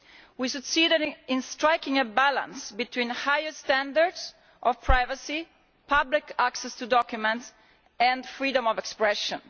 We succeeded in striking a balance between higher standards of privacy, public access to documents, and freedom of expression.